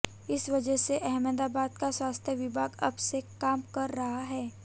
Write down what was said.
इस वजह से अहमदाबाद का स्वास्थ्य विभाग अब से काम कर रहा है